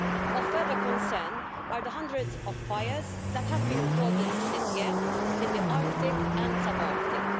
Of further concern are the hundreds of fires that have been recorded this year in the Arctic and subarctic.